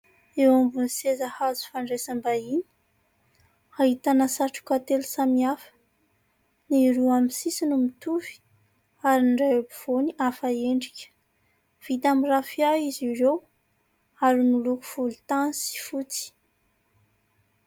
Eo ambonin'ny seza hazo fandraisam-bahiny, ahitana satroka telo samihafa : ny roa amin'ny sisiny mitovy ary ny iray ampovoany hafa endrika. Vita amn'ny rafia izy ireo, ary miloko volontany sy fotsy.